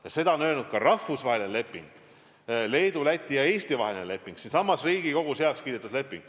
Ja see on kirjas ka rahvusvahelises lepingus, Leedu, Läti ja Eesti vahelises lepingus, mis siinsamas Riigikogus on heaks kiidetud.